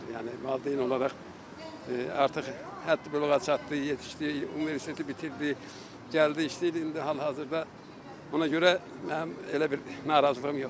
Yəni valideyn olaraq artıq həddi-büluğa çatdı, yetişdi, universiteti bitirdi, gəldi işləyir indi hal-hazırda, ona görə mənim elə bir narazılığım yoxdur.